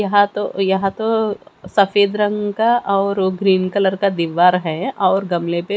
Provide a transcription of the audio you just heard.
यहां तो यहां तो सफेद रंग का और ग्रीन कलर का दीवार है और गमले पे--